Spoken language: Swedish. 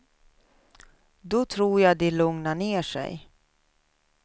Då tror jag de lugnar ner sig.